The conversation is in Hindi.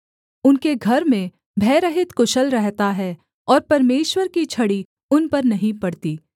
उनके घर में भयरहित कुशल रहता है और परमेश्वर की छड़ी उन पर नहीं पड़ती